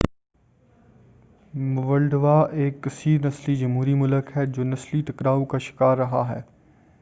Moldova ایک کثیر نسلی جمہوری ملک ہے جو نسلی ٹکراؤ کا شکار رہا ہے